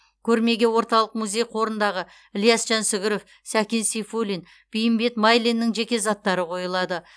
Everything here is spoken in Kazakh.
көрмеге орталық музей қорындағы ілияс жансүгіров сәкен сейфуллин бейімбет майлиннің жеке заттары қойылады